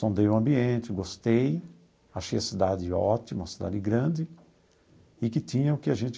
Sondei o ambiente, gostei, achei a cidade ótima, cidade grande, e que tinha o que a gente